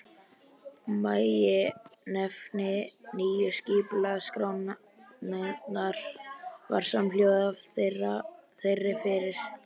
Meginefni nýju skipulagsskrárinnar var samhljóða þeirri fyrri.